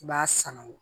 I b'a sanu